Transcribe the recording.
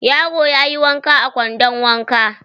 Yaro ya yi wanka a kwandon wanka.